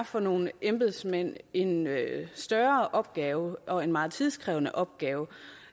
for nogle embedsmænd en større opgave og en meget tidskrævende opgave